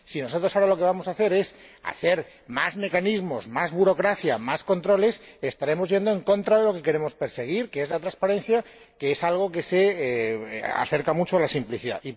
mismas. Si nosotros ahora lo que vamos a introducir es más mecanismos, más burocracia y más controles, estaremos yendo en contra de lo que queremos perseguir, que es la transparencia, algo que se acerca mucho a la simplicidad.